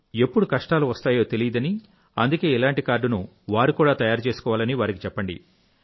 ఎప్పుడు కష్టాలు వస్తాయో తెలియదని అందుకే ఇలాంటి కార్డును వారు కూడా తయారు చేసుకోవాలని వారికి చెప్పండి